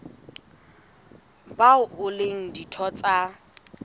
bao e leng ditho tsa